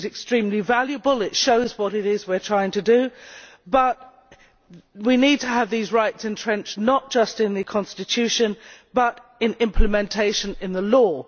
This is extremely valuable and shows what it is we are trying to do, but we need to have these rights entrenched, not just in the Constitution, but in implementation in the law.